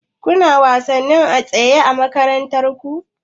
Kuna wasannin atisaye a makarantar ku?